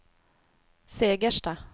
Segersta